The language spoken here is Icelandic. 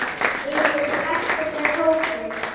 Við erum heppin með hópinn.